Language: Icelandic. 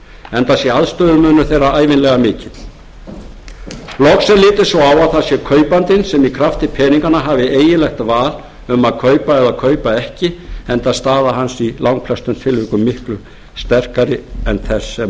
enda sé aðstöðumunur þeirra ævinlega mikill loks er litið svo á að það sé kaupandinn sem í krafti peninganna hafi eiginlegt val um að kaupa eða kaupa ekki enda staða hans í langflestum tilvikum miklu sterkari en þess